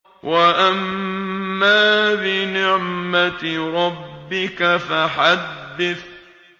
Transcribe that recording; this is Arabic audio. وَأَمَّا بِنِعْمَةِ رَبِّكَ فَحَدِّثْ